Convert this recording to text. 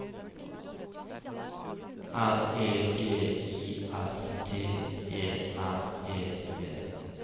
R E G I S T E R E T